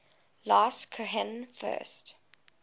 last cohen first